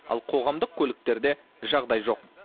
ал қоғамдық көліктерде жағдай жоқ